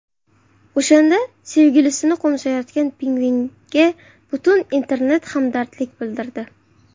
O‘shanda sevgilisini qo‘msayotgan pingvinga butun internet hamdardlik bildirdi.